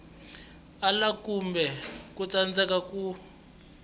ala kumbe ku tsandzeka ku